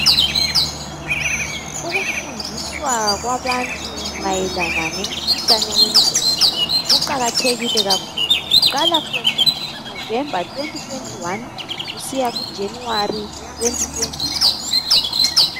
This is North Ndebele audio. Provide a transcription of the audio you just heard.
Ukufundiswa kwabantu mayelana ngemikhuhlane wengqondo kuqala from November 2021 kusiya kujanuary 2022.